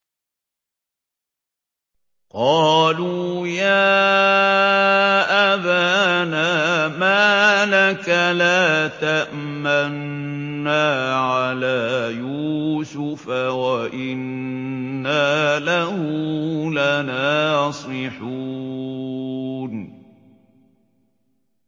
قَالُوا يَا أَبَانَا مَا لَكَ لَا تَأْمَنَّا عَلَىٰ يُوسُفَ وَإِنَّا لَهُ لَنَاصِحُونَ